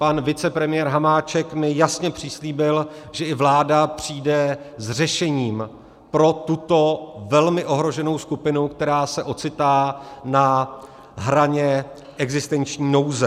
Pan vicepremiér Hamáček mi jasně přislíbil, že i vláda přijde s řešením pro tuto velmi ohroženou skupinu, která se ocitá na hraně existenční nouze.